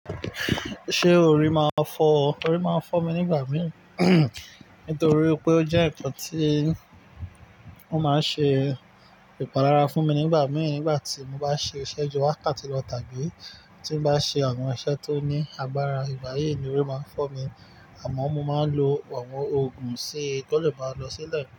Ṣé orí máa ń fọ́ ọ? Orí máa ń fọ́ mi nígbà mìí, nítorí pé ó jẹ́ ǹkan tí ó máa ń ṣe ìpalára fún mi nígbà mìí. Nígbà tí mo bá ṣe iṣẹ́ ju wákàtí lọ tàbí tí n bá ṣe àwọn iṣẹ́ tó ní agbára ìgbàyi ni orí máa ń fọ́ mi. Àmọ́ mo máa ń lo àwọn òògùn ṣi kí ó lè bá lọ sílẹ̀.